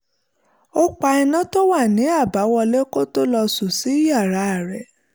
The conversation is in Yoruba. ó pa iná tó wà ní àbáwọlé kó tó lọ sùn sínú yàrá rẹ̀